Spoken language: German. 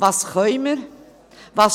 Was können wir?